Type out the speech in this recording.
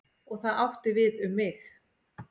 Og það átti við um mig.